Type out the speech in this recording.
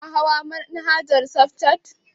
Kana hawar manhaja safcat?